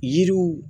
Yiriw